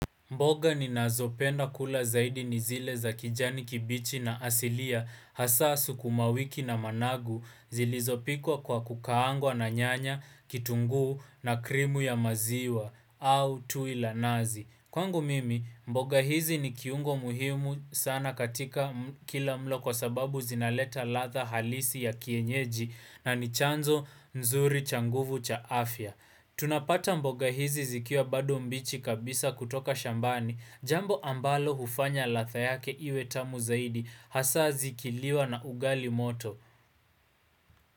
Mboga ninazopenda kula zaidi ni zile za kijani kibichi na asilia hasa sukumawiki na managu zilizopikwa kwa kukaangwa na nyanya, kitunguu na krimu ya maziwa au tui la nazi. Kwangu mimi, mboga hizi ni kiungo muhimu sana katika kila mlo kwa sababu zinaleta ladha halisi ya kienyeji na ni chanzo nzuri cha nguvu cha afya. Tunapata mboga hizi zikiwa bado mbichi kabisa kutoka shambani Jambo ambalo hufanya ladha yake iwe tamu zaidi Hasa zikiliwa na ugali moto.